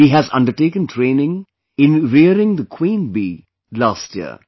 He has undertaken training in rearing the queen bee last year